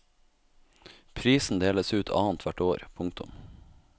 Prisen deles ut annet hvert år. punktum